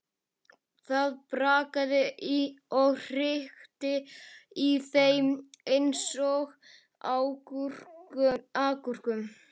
Það brakaði og hrikti í þeim eins og agúrkum.